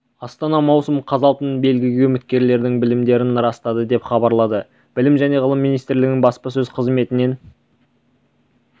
астана маусым қаз алтын белгіге үміткерлердің білімдерін растады деп хабарлады білім және ғылым министрлігінің баспасөз қызметінен